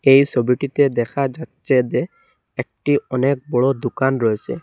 এই সবিটিতে দেখা যাচ্ছে যে একটি অনেক বড় দুকান রয়েসে।